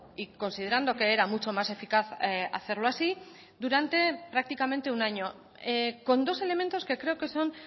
y considerando que era mucho más eficaz hacerlo así durante prácticamente un año con dos elementos que creo que son